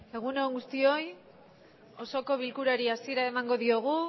egun on guztioi osoko bilkurari hasiera emango diogu